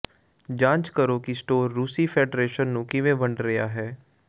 ਜਾਂਚ ਕਰੋ ਕਿ ਸਟੋਰ ਰੂਸੀ ਫੈਡਰੇਸ਼ਨ ਨੂੰ ਕਿਵੇਂ ਵੰਡ ਰਿਹਾ ਹੈ